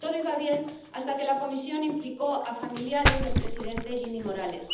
Todo iba bien hasta que la comisión implicó a familiares del presidente Jimmy Morales.